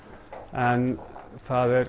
en það